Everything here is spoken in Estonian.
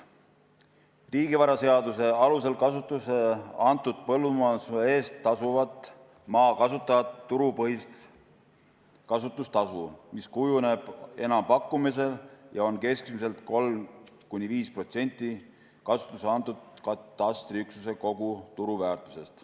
Riigivaraseaduse alusel kasutusse antud põllumajandusmaa eest tasuvad maa kasutajad turupõhist kasutustasu, mis kujuneb enampakkumisel ja on keskmiselt 3–5% kasutusse antud katastriüksuse kogu turuväärtusest.